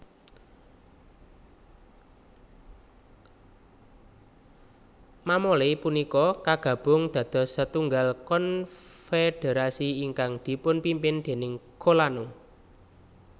Mamole punika kagabung dados setunggal konfederasi ingkang dipunpimpin déning kolano